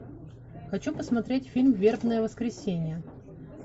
хочу посмотреть фильм вербное воскресенье